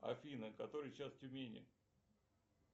афина который час в тюмени